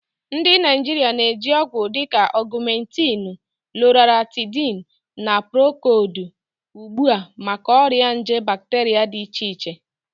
Ndị Naijiria na-eji ọgwụ dịka Ogumentinu, Loratadini, na Procodi ugbu a maka ọrịa nje bacteria dị iche iche